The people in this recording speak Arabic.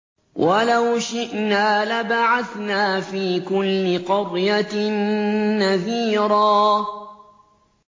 وَلَوْ شِئْنَا لَبَعَثْنَا فِي كُلِّ قَرْيَةٍ نَّذِيرًا